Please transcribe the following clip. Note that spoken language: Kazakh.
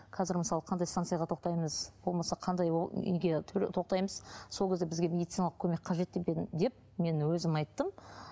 қазір мысалы қандай станцияға тоқтаймыз болмаса қандай ол неге тоқтаймыз сол кезде бізге медициналық көмек қажет деп деп мен өзім айттым